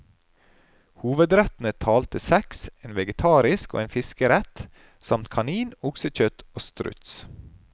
Hovedrettene talte seks, en vegetarisk og en fiskerett, samt kanin, oksekjøtt og struts.